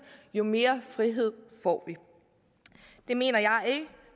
jo mere frihed får vi det mener jeg ikke